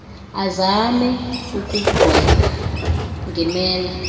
azame ukunqwenga ngemela